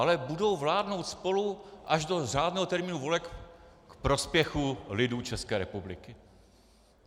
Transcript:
Ale budou vládnout spolu až do řádného termínu voleb k prospěchu lidu České republiky.